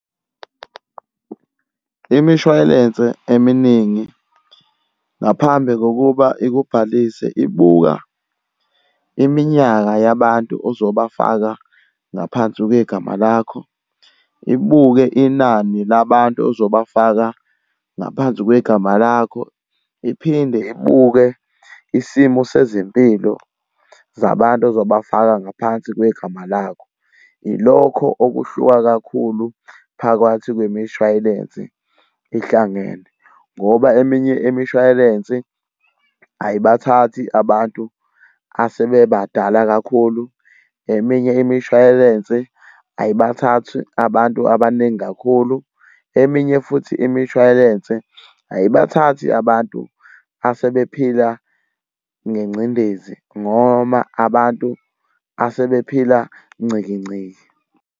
Imishwayelense eminingi ngaphambi kokuba ikubhalise ibuka iminyaka yabantu ozobafaka ngaphansi kwegama lakho, ibuke inani labantu ozobafaka ngaphansi kwegama lakho, iphinde ibuke isimo sezempilo zabantu ozobafaka ngaphansi kwegama lakho. Ilokho okuhluka kakhulu phakathi kwemishwayelensi ihlangene. Ngoba eminye imishwayelensi ayibathathi abantu asebebadala kakhulu, eminye imishwayelensi ayibathathi abantu abaningi kakhulu, eminye futhi imishwayelense ayibathathi abantu asebephila ngencindezi noma abantu asebephila nciki nciki.